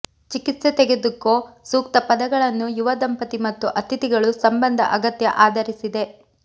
ಚಿಕಿತ್ಸೆ ತೆಗೆದುಕೊ ಸೂಕ್ತ ಪದಗಳನ್ನು ಯುವ ದಂಪತಿ ಮತ್ತು ಅತಿಥಿಗಳು ಸಂಬಂಧ ಅಗತ್ಯ ಆಧರಿಸಿದೆ